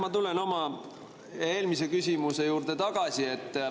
Ma tulen oma eelmise küsimuse juurde tagasi.